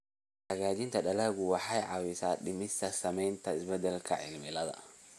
Hagaajinta dalaggu waxay caawisaa dhimista saamaynta isbeddelka cimilada.